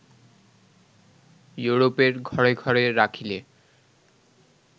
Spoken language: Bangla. ইউরোপের ঘরে ঘরে রাখিলে